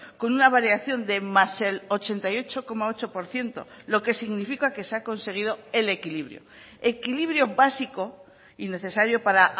con una variación de más el ochenta y ocho coma ocho por ciento lo que significa que se ha conseguido el equilibrio equilibrio básico y necesario para